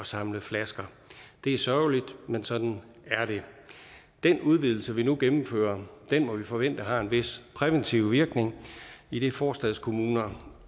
samle flasker det er sørgeligt men sådan er det den udvidelse vi nu gennemfører må vi forvente har en vis præventiv virkning idet forstadskommuner